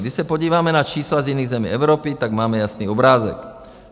Když se podíváme na čísla z jiných zemí Evropy, tak máme jasný obrázek.